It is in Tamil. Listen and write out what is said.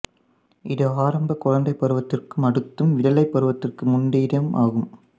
இது ஆரம்ப குழந்தைப் பருவத்திற்கும் அடுத்ததும் விடலைப் பருவத்திற்கு முந்தியதும் ஆகும்